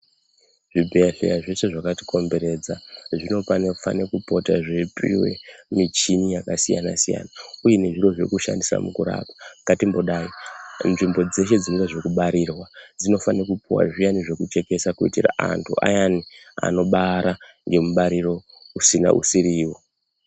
Zvibhedhlera zveshe zvakatikomberedza zvinofane kupota zveipuwa michini yakasiyana siyana uye nezviro zvekushandisa mukurapa. Ngatimbodaro nzvimbo dzeshe dzine zvekubarirwa dzinofanira kupuwa zviyani zvekuchekesa kuitira antu ayani anobara ngemubariro usiwo.